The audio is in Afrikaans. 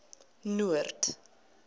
noord